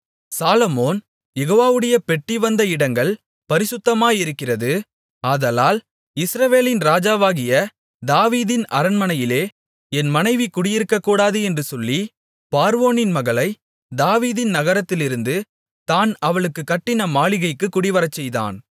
சாலொமோன் யெகோவாவுடைய பெட்டி வந்த இடங்கள் பரிசுத்தமாயிருக்கிறது ஆதலால் இஸ்ரவேலின் ராஜாவாகிய தாவீதின் அரண்மனையிலே என் மனைவி குடியிருக்கக்கூடாது என்று சொல்லி பார்வோனின் மகளைத் தாவீதின் நகரத்திலிருந்து தான் அவளுக்குக் கட்டின மாளிகைக்குக் குடிவரச்செய்தான்